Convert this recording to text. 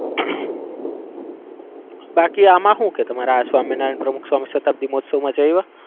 બાકી આમાં હું કેય તમારા સ્વામીનારાયણ પ્રમુખસ્વામી શતાબ્દી મહોત્સવ જઈ આયવા?